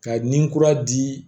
Ka ni kura di